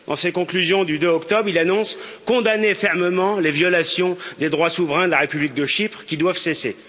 Dans ses conclusions du 2 octobre, il annonce condamner fermement les violations des droits souverains de la République de Chypre, qui doivent cesser.